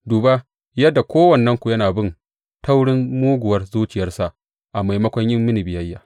Duba yadda kowannenku yana bin taurin muguwar zuciyarsa a maimakon yin mini biyayya.